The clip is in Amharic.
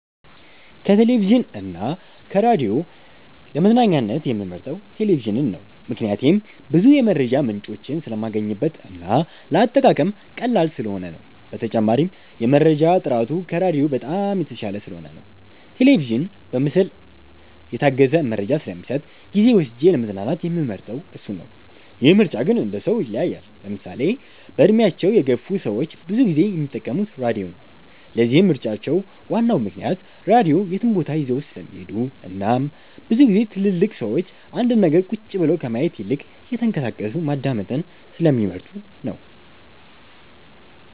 ከቴሌቪዥን እና ከራዲዮ ለመዝናኛነት የምመርጠው ቴሌቪዥንን ነው። ምክንያቴም ብዙ የመረጃ ምንጮችን ስለማገኝበት እና ለአጠቃቀም ቀላል ስለሆነ ነው። በተጨማሪም የመረጃ ጥራቱ ከራዲዮ በጣም የተሻለ ስለሆነ ነው። ቴሌቪዥን በምስል የታገዘ መረጃ ስለሚሰጥ ጊዜ ወስጄ ለመዝናናት የምመርጠው እሱን ነው። ይህ ምርጫ ግን እንደሰው ይለያያል። ለምሳሌ በእድሜያቸው የገፍ ሰዎች ብዙ ጊዜ የሚጠቀሙት ራድዮ ነው። ለዚህም ምርጫቸው ዋናው ምክንያት ራድዮ የትም ቦታ ይዘውት ስለሚሄዱ እናም ብዙ ግዜ ትልልቅ ሰዎች አንድን ነገር ቁጭ ብለው ከማየት ይልቅ እየተንቀሳቀሱ ማዳመጥን ስለሚመርጡ ነው።